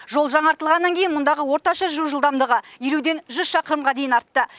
жол жаңартылғаннан кейін мұндағы орташа жүру жылдамдығы елуден жүз шақырымға дейін артты